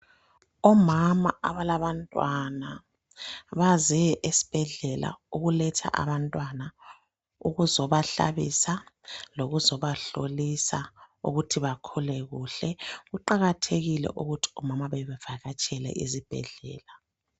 Omama abalabantwana baze esibhedlela ukuletha abantwana ukuzobahlabisa lokuzobahlolisa ukuthi bakhule kuhle kuqakathekile ukuthi omama bevakatshele ezibhedlela.